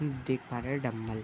देख पा रहें हैं डम्मल --